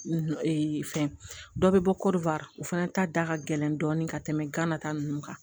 fɛn dɔ bɛ bɔ o fana ta da ka gɛlɛn dɔɔni ka tɛmɛ gana ta ninnu kan